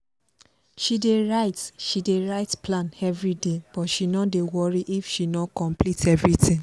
she dey write she dey write plan everyday but she no dey worry if she no complete everything